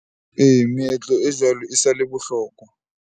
Ee, meetlo e jwalo e sa le bohlokwa.